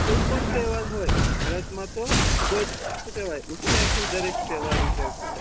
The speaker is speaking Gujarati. કોઈ પણ તેહવાર હોય ભારત મા તો ખુબજ શુ કેવાય ઉત્ષા થી દરેક તેહવાર ઉજવતા હોય